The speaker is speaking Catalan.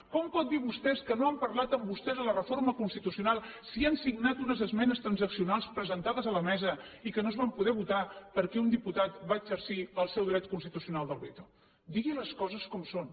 com poden dir vostès que no han parlat amb vostès de la reforma constitucional si han signat unes esmenes transaccionals presentades a la mesa i que no es van poder votar perquè un diputat va exercir el seu dret constitucional del veto digui les coses com són